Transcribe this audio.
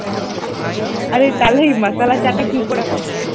আরে তাহলে এই মশালা চা টা কি করে হবে?